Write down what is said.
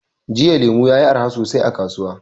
Jiya lemu yayi arha sosai a kasuwa.